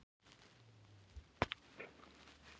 Steinninn gekk inn í höfuðkúpuna eins og axarblað.